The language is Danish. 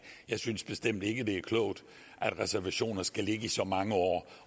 jeg synes bestemt ikke det er klogt at reservationer skal ligge i så mange år